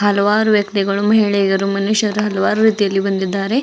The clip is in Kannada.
ಹಲವಾರು ವ್ಯಕ್ತಿಗಳು ಮಹಿಳೆಯರು ಮನುಷ್ಯರು ಹಲವಾರು ರೀತಿಯಲ್ಲಿ ಬಂದಿದ್ದಾರೆ.